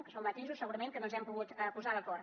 que són matisos segurament que no ens hem pogut posar d’acord